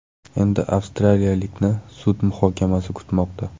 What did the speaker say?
Endi avstraliyalikni sud muhokamasi kutmoqda.